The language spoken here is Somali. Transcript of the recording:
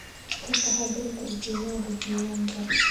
Ka taxadar tarjumaada diiwaanka.